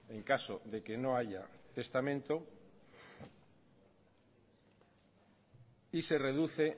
en caso de que no haya testamento y se reduce